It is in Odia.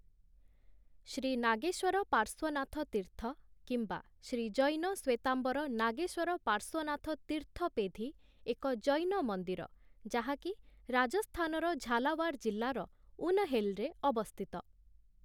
ଶ୍ରୀ ନାଗେଶ୍ୱର ପାର୍ଶ୍ୱନାଥ ତୀର୍ଥ କିମ୍ବା ଶ୍ରୀ ଜୈନ ଶ୍ୱେତାମ୍ବର ନାଗେଶ୍ୱର ପାର୍ଶ୍ୱନାଥ ତୀର୍ଥ ପେଧି ଏକ ଜୈନ ମନ୍ଦିର ଯାହାକି ରାଜସ୍ଥାନର ଝାଲାୱାର ଜିଲ୍ଲାର ଉନହେଲରେ ଅବସ୍ଥିତ ।